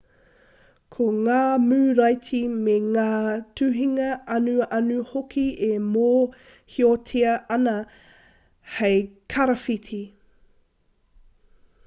ko ngā muraiti me ngā tuhinga anuanu hoki e mōhiotia ana hei karawhiti